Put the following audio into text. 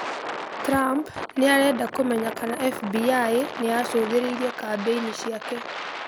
Trump nĩ arenda kũmenya kana FBI nĩ yaacũthĩrĩirie kambĩini ciake